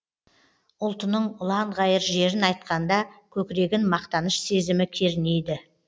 ұлтының ұланғайыр жерін айтқанда көкірегін мақтаныш сезімі кернейді